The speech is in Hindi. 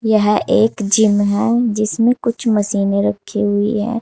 यह एक जिम है जिसमें कुछ मशीने रखी हुई है।